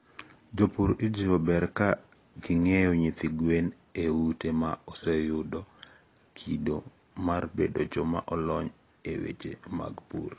jopur ijiwo ber ka ging'iewo nyithi gwen e ute ma oseyudo kido mar bedo joma olony e weche mag pur.